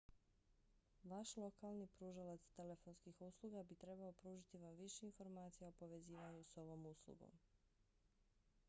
vaš lokalni pružalac telefonskih usluga bi trebao pružiti vam više informacija o povezivanju s ovom uslugom